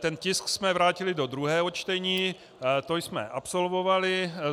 Ten tisk jsme vrátili do druhého čtení, to jsme absolvovali.